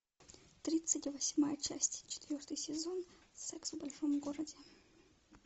тридцать восьмая часть четвертый сезон секс в большом городе